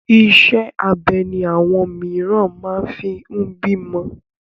Iṣẹ́ abẹ ni àwọn mìíràn máa fi ń bímọ.